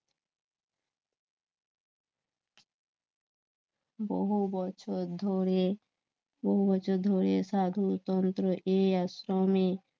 বহু বছর ধরে বহু বছর ধরে সাধু তন্ত্র, এই আশ্রমে